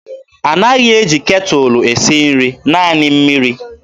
A naghị eji ketụlụ esi nri, naanị mmiri.